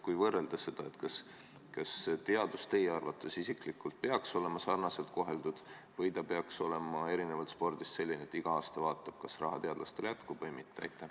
Kui neid valdkondi võrrelda, siis kas teadus peaks teie arvates olema sarnaselt koheldud või ta peaks olema erinevalt spordist selline, et igal aastal vaatame, kas teadlastele raha jätkub või mitte?